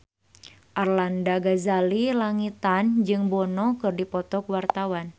Arlanda Ghazali Langitan jeung Bono keur dipoto ku wartawan